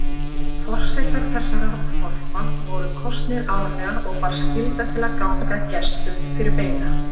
Forsetar þessara þorpa voru kosnir árlega og bar skylda til að ganga gestum fyrir beina.